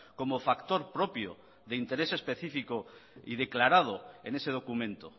como factor propio de interés específico y declarado en ese documento